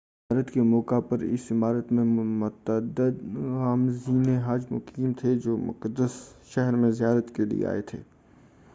حج کی زیارت کے موقع پر اس عمارت میں متعدد عازمین حج مقیم تھے جو مقدس شہر میں زیارت کیلئے آئے تھے